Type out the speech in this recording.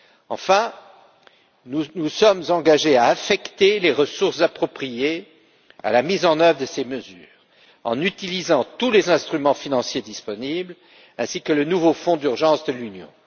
Enfin, nous nous sommes engagés à affecter les ressources appropriées à la mise en œuvre de ces mesures en utilisant tous les instruments financiers disponibles ainsi que le nouveau fonds d'urgence de l'Union.